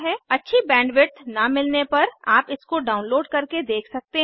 अच्छी बैंडविड्थ न मिलने पर आप इसको डाउनलोड करके देख सकते हैं